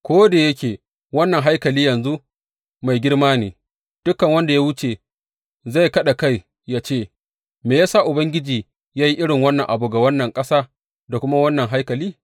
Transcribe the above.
Ko da yake wannan haikali yanzu mai girma ne, dukan wanda ya wuce zai kaɗa kai yă ce, Me ya sa Ubangiji ya yi irin wannan abu ga wannan ƙasa da kuma ga wannan haikali?’